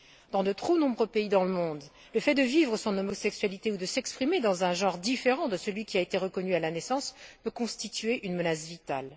Dans de trop nombreux pays dans le monde, le fait de vivre son homosexualité ou de s'exprimer dans un genre différent de celui qui a été reconnu à la naissance peut constituer une menace vitale.